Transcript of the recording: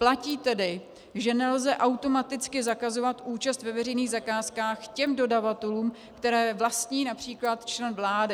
Platí tedy, že nelze automaticky zakazovat účast ve veřejných zakázkách těm dodavatelům, které vlastní například člen vlády.